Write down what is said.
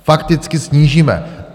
Fakticky snížíme!